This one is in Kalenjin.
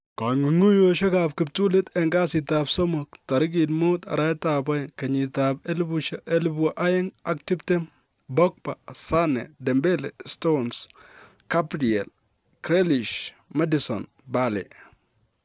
Kong'ung'unyosiek ab kiptulit en kasitab somok: 05/02/2020 : Pogba, Sane, Dembele, Stones, Gabriel, Grealish, Maddison, Bale